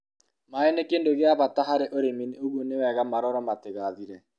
maĩ ni kindũ gia bata harĩ ũrĩmi ũguo niwega marorũo matigathire